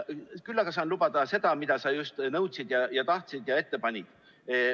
Küll aga saan lubada seda, mida sa just nõudsid ja tahtsid ja ette panid.